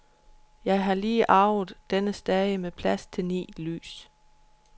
Jeg har lige arvet denne stage med plads til ni lys.